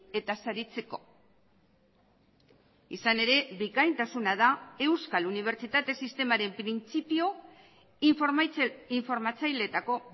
eta saritzeko izan ere bikaintasuna da euskal unibertsitate sistemaren printzipio informatzaileetako